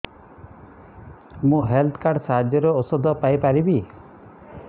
ମୁଁ health card ସାହାଯ୍ୟରେ ଔଷଧ ପାଇ ପାରିବି